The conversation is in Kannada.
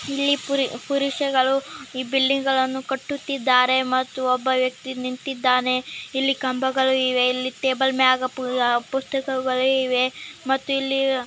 ಸೊ ಇಲ್ಲಿ ನೋಡ್ತಿದ್ದೀರಾ ಒಂದು ಕಮಾನಿನ ಆಕಾರದಲ್ಲಿರುವ ಒಂದು ದ್ವಾರ ಒಂದು ಗಾಜಿನ ವಿನ್ಯಾಸದಿಂದ ವಿಂಡೋಸ್ ಗಳ್ನ ಕ್ರಿಯೇಟ್ ಮಾಡಿದರೆ .